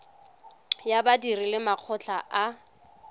ya badiri le makgotla a